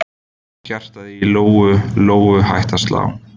Hjartað í Lóu Lóu hætti að slá.